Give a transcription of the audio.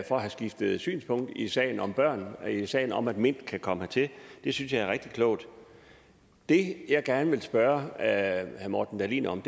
for at have skiftet synspunkt i sagen om børn i sagen om at mint kan komme hertil det synes jeg er rigtig klogt det jeg gerne vil spørge herre morten dahlin om